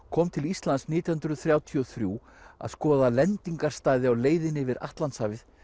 kom til Íslands nítján hundruð þrjátíu og þrjú að skoða á leiðinni yfir Atlantshafið